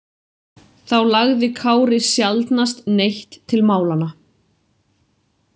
Þá lagði Kári sjaldnast neitt til málanna.